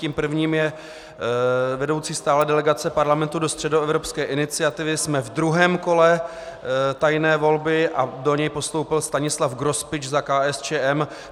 Tím prvním je vedoucí stálé delegace Parlamentu do Středoevropské iniciativy, jsme ve druhém kole tajné volby a do něj postoupil Stanislav Grospič za KSČM.